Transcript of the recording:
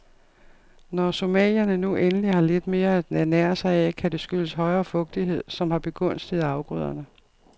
Når somalierne nu endelig har lidt mere at ernære sig af, kan det skyldes højere fugtighed, som har begunstiget afgrøderne.